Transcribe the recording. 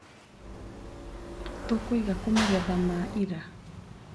Tũkũiga kũ magetha ma ira.